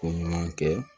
Ko ɲuman kɛ